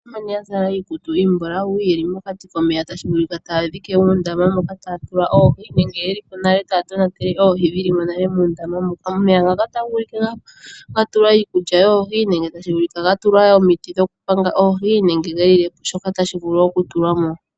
Aantu mbono ya zala iikutu iimbulawu ye li mokati komeya tashi vulika taya dhike uundama moka taya tula oohi nenge ye li po nale taya tonatele oohi dhi li mo nale muundama moka. Omeya ngaka otashi vulika ga tulwa iikulya yoohi nenge tashi vulika ga tulwa omiti dhokupanga oohi nenge shoka tashi vulu okutulwa mo.